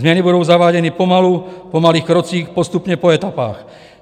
Změny budou zaváděny pomalu po malých krocích, postupně, po etapách.